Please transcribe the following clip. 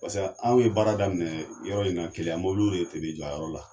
Paseke anw ye baara daminɛ yɔrɔ in na keleya mɔbiliw de kun bi jɔ a yɔrɔ la.